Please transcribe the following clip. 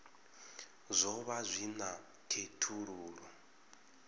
zwo vha zwi na khethululoe